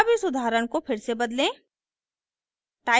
अब इस उदाहरण को फिर से बदलें